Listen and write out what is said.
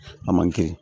A man kɛ